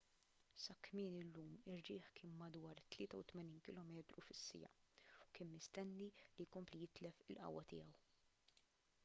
sa kmieni llum ir-riħ kien madwar 83 km/h u kien mistenni li jkompli jitlef il-qawwa tiegħu